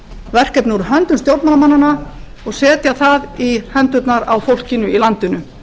verkefni úr höndum stjórnmálamannanna og setja það í hendurnar á fólkinu í landinu